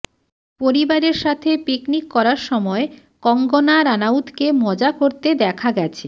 পরিবারের সাথে পিকনিক করার সময় কঙ্গনা রানাউতকে মজা করতে দেখা গেছে